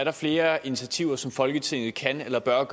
er flere initiativer som folketinget kan eller bør